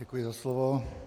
Děkuji za slovo.